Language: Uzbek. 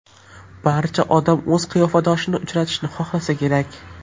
Barcha odam o‘z qiyofadoshini uchratishni xohlasa kerak.